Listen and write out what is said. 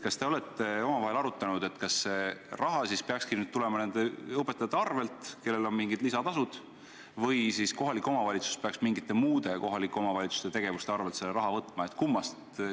Kas te olete omavahel arutanud, kas see raha peakski nüüd tulema nende õpetajate arvel, kellel on mingid lisatasud, või kohalik omavalitsus peaks mingite muude kohalike omavalitsuste tegevuste arvel selle raha võtma?